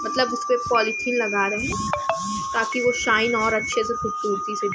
मतलब उसपे पोलोथिन लगा रहें हैं ताकि वो शाइन और अच्छे से खूबसूरती से --